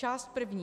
Část první.